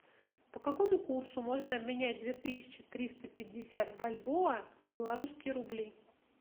по какому курсу можно обменять две тысячи триста пятьдесят бальбоа в белорусские рубли